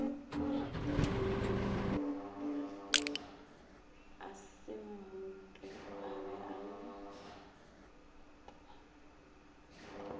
a semmupo a be le